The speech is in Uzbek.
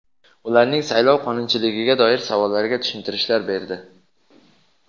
ularning saylov qonunchiligiga doir savollariga tushuntirishlar berdi.